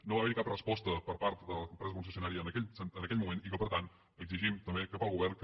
no va haver hi cap resposta per part de les empreses concessionàries en aquell moment i per tant exigim també cap al govern que